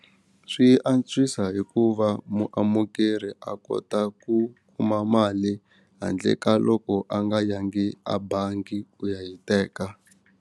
Swi antswisa hikuva muamukeri a kota ku kuma mali handle ka loko a nga yangi a bangi ku ya yi teka.